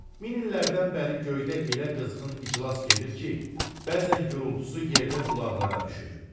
Min illərdən bəri göydə elə qızğın iclas gedir ki, bəzən gurultusu yerdə qulaqlara düşür.